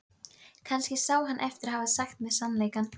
Um haustið kom sýslumaður í víkina.